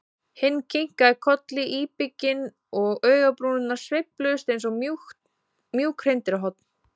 Hinn kinkaði kolli íbygginn og augnabrúnirnar sveifluðust eins og mjúk hreindýrshorn.